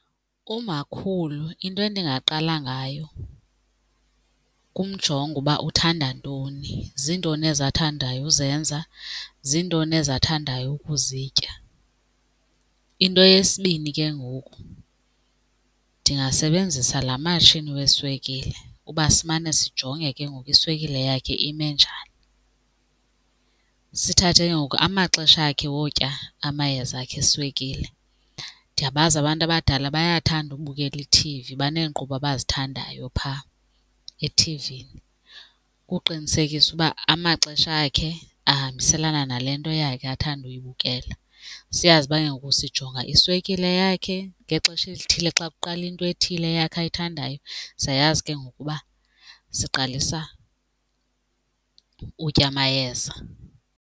Umakhulu into endingaqala ngayo kumjonga uba uthanda ntoni, zintoni ezi athandayo uzenza, zintoni ezi athandayo ukuzitya. Into yesibini ke ngoku, ndingasebenzisa laa matshini weswekile uba simane sijonge ke ngoku iswekile yakhe ime njani. Sithathe ke ngoku amaxesha akhe wotya amayeza akhe eswekile, ndiyabazi abantu abadala bayathanda ukubukela ithivi, baneenkqubo abazithandayo phaa ethivini, ukuqinisekisa uba amaxesha akhe ahambiselana nale nto yakhe athanda uyibukela. Siyazi uba ke ngoku sijonga iswekile yakhe ngexesha elithile, xa kuqala into ethile eyakhe ayithandayo siyayazi ke ngoku uba siqalisa utya amayeza.